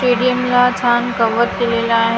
स्टेडीअमला छान गावात दिलेलं आहे इथं --